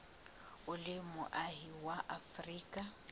o le moahi wa afrika